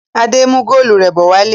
Adé ń mú góólù rẹ̀ bọ̀ wálé.